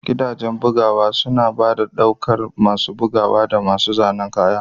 Gidajen bugawa suna ɗaukar masu bugawa da masu zanen kaya.